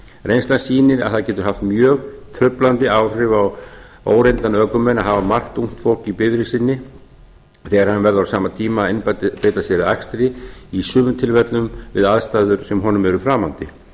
reynslan sýnir að það getur haft mjög truflandi áhrif á óreynda ökumenn að margt ungt fólk í bifreið sinni þegar hann verður á sama koma að einbeita sér að akstri í sumum tilfellum við aðstæður sem honum eru framandi